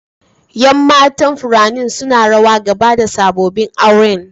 Yan matan furannin suna rawa gaba da sabobin auren.